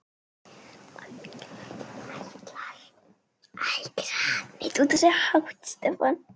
Ætlar þú líka?